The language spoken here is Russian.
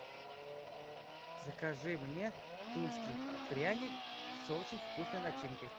закажи мне тульский пряник с очень вкусной начинкой